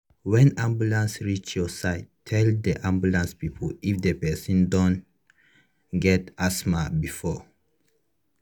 when ambulance reach your side tell the ambulance people if the person don get asthma before